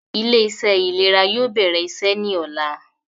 Ilé - iṣẹ́ ìlera yóò bẹ̀rẹ̀ iṣẹ́ ní ọ̀la